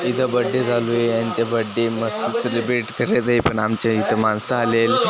इथ बड्डे चालू आहे आणि ते बड्डे म सेलिब्रेट कशाचंय पण आमच्या हित माणस आलेत.